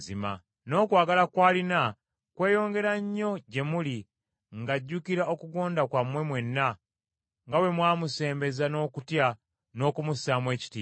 N’okwagala kw’alina kweyongera nnyo gye muli ng’ajjukira okugonda kwammwe mwenna, nga bwe mwamusembeza n’okutya n’okumussaamu ekitiibwa.